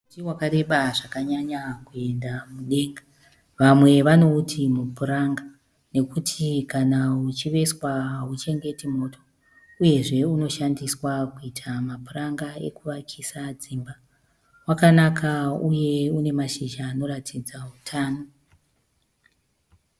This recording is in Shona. Muti wakareba zvakanyanya kuenda mudenga. Vamwe vanouti mupuranga nokuti kana uchiveswa hauchengeti moto uyezve unoshandiswa kuita mapuranga ekuvakisa dzimba. Wakanaka uye une mashizha anoratidza utano.